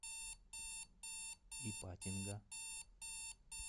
ипатинга